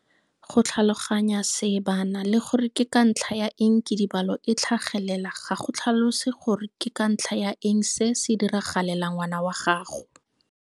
Go tlhaloganya seebana le gore ke ka ntlha ya eng kidibalo e tlhagelela ga go tlhalose gore ke ka ntlha ya eng se se diragalela ngwana wa gago.